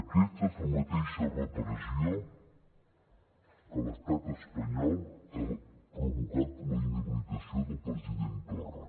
aquesta és la mateixa repressió que a l’estat espanyol ha provocat la inhabilitació del president torra